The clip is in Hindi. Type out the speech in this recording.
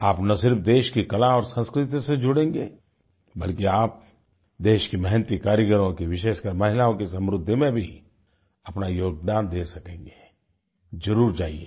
आप ना सिर्फ देश की कला और संस्कृति से जुड़ेंगे बल्कि आप देश के मेहनती कारीगरों की विशेषकर महिलाओं की समृद्धि में भी अपना योगदान दे सकेंगे जरुर जाइये